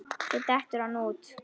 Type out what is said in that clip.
Svo dettur hann út.